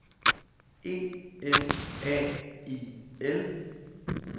E M A I L